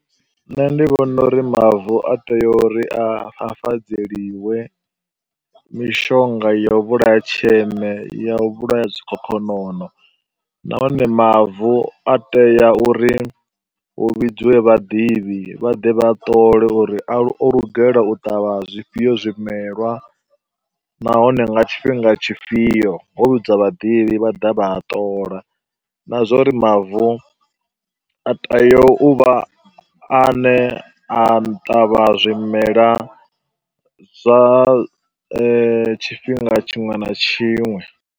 Nṋe ndi vhona uri mavu a tea uri a a fafadzeliwe mishonga ya u vhulaha tsheme, ya u vhulaha zwikhokhonono nahone mavu a tea uri hu vhidziwe vhaḓivhi vha ḓe vha a ṱole uri o lugela u ṱavha zwifhio zwimelwa. Nahone nga tshifhinga tshifhio, ho vhidziwa vhaḓivhi vha ḓa vha a ṱola na zwa uri mavu a tea u vha a ne a ṱavha zwimela zwa tshifhinga tshiṅwe na tshiṅwe